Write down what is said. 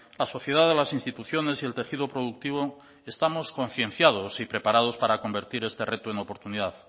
la sociedad de las instituciones y el tejido productivo estamos concienciados y preparados para convertir este reto en oportunidad